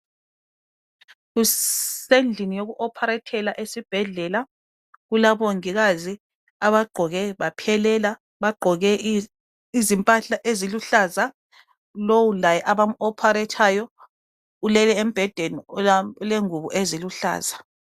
Kusendlini yoku operethela esibhedlela kulabongikazi abagqoke baphelela. Bagqoke izimpahla eziluhlaza. Lowu laye abam operethayo ulele embhedeni olengubo eziluhlaza.